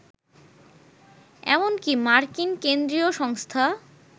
এমনকী মার্কিন কেন্দ্রীয় সংস্থা